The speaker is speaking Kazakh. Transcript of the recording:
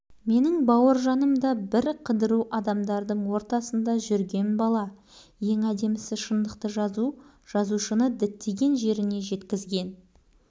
даңқты қолбасшы аттас атасы бауыржан момышұлы жайлы жазылған шығармалардың барлығы қандай шын болса үшінші всынып оқушысы